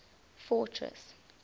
fortress